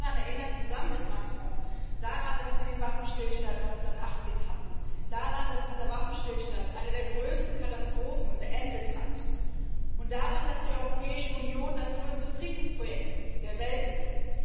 Sie haben daran erinnert zusammen mit Macron dass wir den Waffenstillstand 1918 hatten, daran, dass dieser Waffenstillstand eine der größten Katastrophen beendet hat, und daran, dass die Europäische Union das größte Friedensprojekt der Welt ist.